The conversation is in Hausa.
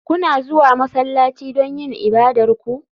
Kuna zuwa masallaci don yin ibadar ku?